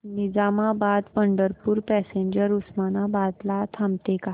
Nizamabad Pandharpur passenger Osmanabad ला थांबते का